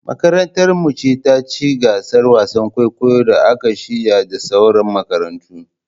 Makarantar mu ce taci gasar wasan kwaikwayon da aka shirya da sauran makarantu